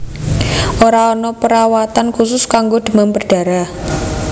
Ora ana perawatan khusus kanggo demam berdarah